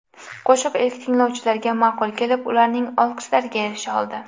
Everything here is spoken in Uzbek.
Qo‘shiq ilk tinglovchilarga ma’qul kelib, ularning olqishlariga erisha oldi.